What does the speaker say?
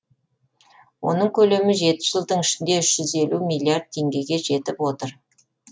оның көлемі жеті жылдың ішінде үш жүз елу миллиард теңгеге жетіп отыр